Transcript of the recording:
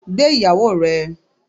Gbé Ìyàwó ẹ.